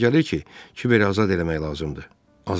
Mənə elə gəlir ki, Kibəri azad eləmək lazımdır.